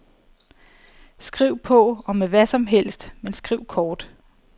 Skriv på, og med hvadsomhelst, men skriv kort.